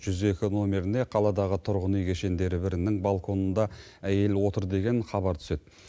жүз екі номеріне қаладағы тұрғын үй кешендері бірінің балконында әйел отыр деген хабар түседі